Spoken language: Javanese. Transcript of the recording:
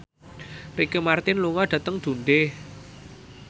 Ricky Martin lunga dhateng Dundee